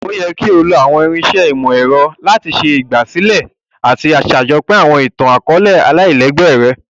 O yẹ ki o lo àwọn irinṣẹ́ ìmọ̀-ẹrọ lati ṣe ìgbàsílẹ̀ àti sàjopín àwọn itan-akọọlẹ folk aláìlégbé rẹ.